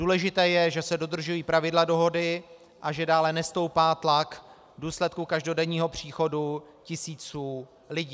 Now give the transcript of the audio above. Důležité je, že se dodržují pravidla dohody a že dále nestoupá tlak v důsledku každodenního příchodu tisíců lidí.